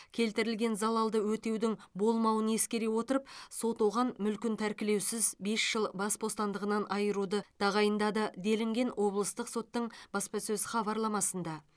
келтірілген залалды өтеудің болмауын ескере отырып сот оған мүлкін тәркілеусіз бес жыл бас бостандығынан айыруды тағайындады делінген облыстық соттың баспасөз хабарламасында